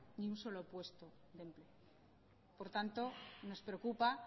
ni un solo puesto por tanto nos preocupa